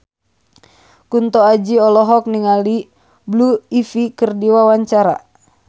Kunto Aji olohok ningali Blue Ivy keur diwawancara